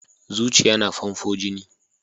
Zuciya na famfo jini.